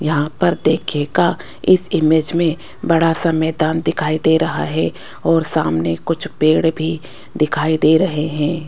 यहां पर देखिएगा इस इमेज मे बड़ा सा मैदान दिखाई दे रहा है और सामने कुछ पेड़ भी दिखाई दे रहे है।